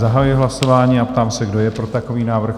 Zahajuji hlasování a ptám se, kdo je pro takový návrh?